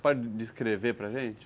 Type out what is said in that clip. Pode descrever para gente?